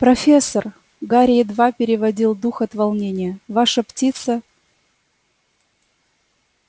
профессор гарри едва переводил дух от волнения ваша птица